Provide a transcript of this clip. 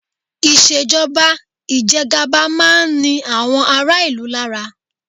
Ìṣèjọba ìjẹgaba máa ń ni àwọn ará-ìlú lára.